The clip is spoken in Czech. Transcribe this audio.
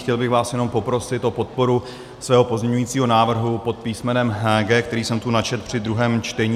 Chtěl bych vás jenom poprosit o podporu svého pozměňovacího návrhu pod písmenem G, který jsem tu načetl při druhém čtení.